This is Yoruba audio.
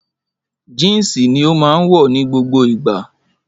Jínsì ni ó máa wọ̀ ní gbogbo ìgbà